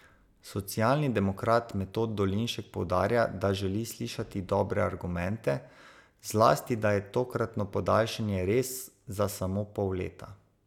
Socialni demokrat Metod Dolinšek poudarja, da želi slišati dobre argumente, zlasti, da je tokratno podaljšanje res za samo pol leta.